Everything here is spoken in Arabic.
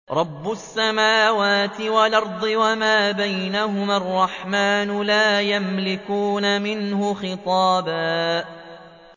رَّبِّ السَّمَاوَاتِ وَالْأَرْضِ وَمَا بَيْنَهُمَا الرَّحْمَٰنِ ۖ لَا يَمْلِكُونَ مِنْهُ خِطَابًا